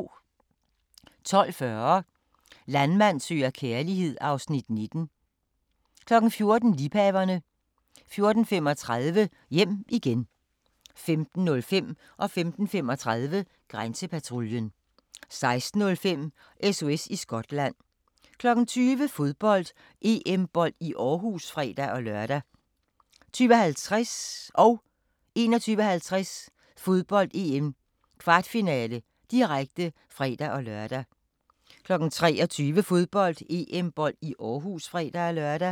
12:40: Landmand søger kærlighed (Afs. 19) 14:00: Liebhaverne 14:35: Hjem igen 15:05: Grænsepatruljen 15:35: Grænsepatruljen 16:05: SOS i Skotland 20:00: Fodbold: EM-bold i Aarhus (fre-lør) 20:50: Fodbold: EM - kvartfinale, direkte (fre-lør) 21:50: Fodbold: EM - kvartfinale, direkte (fre-lør) 23:00: Fodbold: EM-bold i Aarhus (fre-lør)